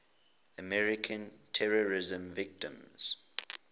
american terrorism victims